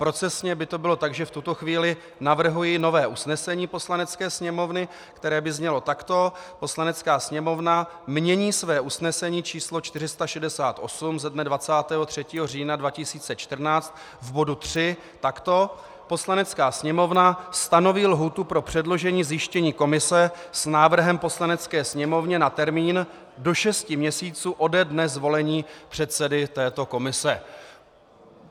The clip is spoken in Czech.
Procesně by to bylo tak, že v tuto chvíli navrhuji nové usnesení Poslanecké sněmovny, které by znělo takto: Poslanecká sněmovna mění své usnesení číslo 468 ze dne 23. října 2014 v bodu 3 takto: Poslanecká sněmovna stanoví lhůtu pro předložení zjištění komise s návrhem Poslanecké sněmovně na termín do šesti měsíců ode dne zvolení předsedy této komise.